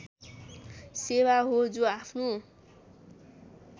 सेवा हो जो आफ्नो